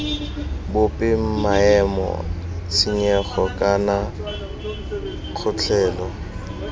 bope maemo tshenyego kana kgotlhelo